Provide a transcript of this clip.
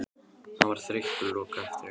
Hann var þreyttur og lokaði aftur augunum.